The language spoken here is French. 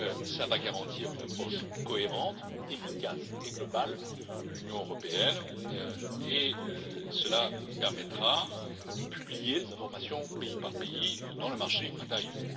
Cela va garantir une approche cohérente, efficace et globale de l'Union européenne et cela permettra de publier les informations pays par pays dans le marché intérieur.